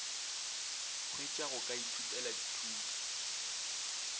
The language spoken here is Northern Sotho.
hwetšwa go ka ithutela dithuto